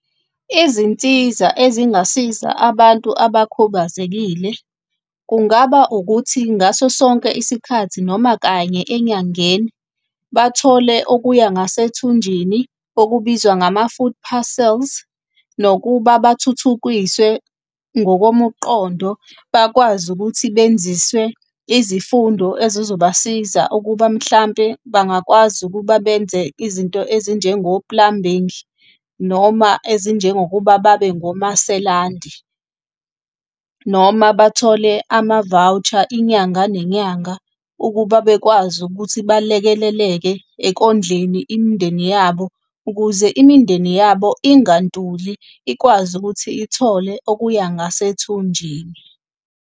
Izinsiza ezingasiza abantu abakhubazekile, kungaba ukuthi ngaso sonke isikhathi noma kanye enyangeni, bathole okuya ngasethunjini, okubizwa ngama-food parcels, nokuba bathuthukiswe ngokomuqondo, bakwazi ukuthi benziswe izifundo ezizobasiza ukuba mhlampe bangakwazi ukuba benze izinto ezinjengo-plumbing, noma ezinjengokuba babe ngomaselandi. Noma bathole ama-voucher inyanga nenyanga ukuba bekwazi ukuthi balekeleleke ekondleni imindeni yabo, ukuze imindeni yabo ingantuli ikwazi ukuthi ithole okuya ngasethunjini.